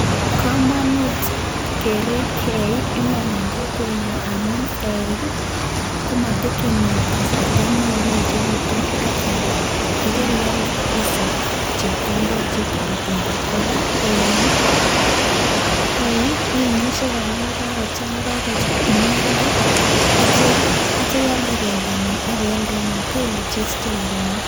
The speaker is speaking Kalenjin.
Komonut kerib eik iman en kokwenyon amun eik ii komotekeni kasarta neo koechegitun ak kyalda. Ye kerialde isich chepkondok che toretenge. Kora eik ii imuch kora ye kagochang'a ialde ak kityo ialde bendonyin ak ibealde ne hoteli isiche rabinik.